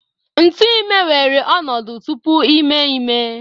Ntu ime weere ọnọdụ tupu ime ime